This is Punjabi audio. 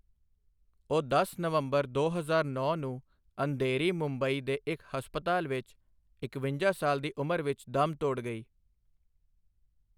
ਉਹ ਦਸ ਨਵੰਬਰ ਦੋ ਹਜ਼ਾਰ ਨੌਂ ਨੂੰ ਅੰਧੇਰੀ, ਮੁੰਬਈ ਦੇ ਇੱਕ ਹਸਪਤਾਲ ਵਿੱਚ ਇਕਵੰਜਾ ਸਾਲ ਦੀ ਉਮਰ ਵਿੱਚ ਦਮ ਤੋੜ ਗਈ।